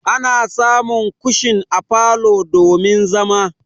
Ana samun kushin a falo domin zama.